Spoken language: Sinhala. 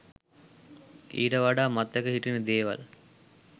ඊට වඩා මතක හිටින දේවල්